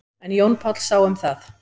En Jón Páll sá um það.